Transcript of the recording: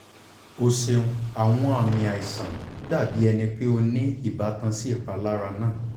o ṣeun awọn aami aisan dabi ẹni pe o ni ibatan si ipalara naa